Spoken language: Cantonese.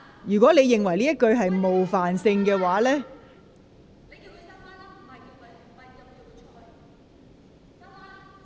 如果你認為這句說話有冒犯性......